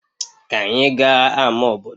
Ka anyị gaa ama obodo